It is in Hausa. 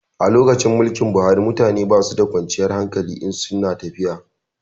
A lokacin mulkin Buhari mutane basu da kwanciyar hankali in su na tafiya